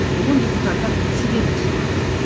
бүгін депуттар себебін сұрады